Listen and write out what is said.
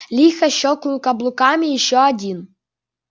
лихо щёлкнул каблуками ещё один